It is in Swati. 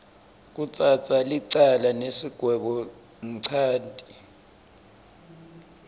kutsatsa licala nesigwebonchanti